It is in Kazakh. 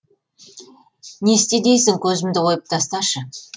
не істе дейсің көзімді ойып тасташы